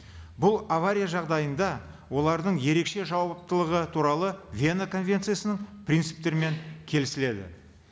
бұл авария жағдайында олардың ерекше жауаптылығы туралы вена конвенциясының принциптерімен келісіледі